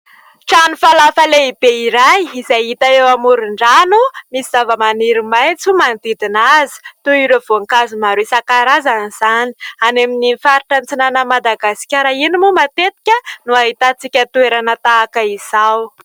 Trano falafa lehibe iray izay hita eo amoron-drano misy zava-maniry maitso manodidina azy; toy ireo voankazo maro isan-karazany izany; any amin'ny faritra antsinan'i Madagaskara iny moa matetika no ahitantsika toerana tahaka izao.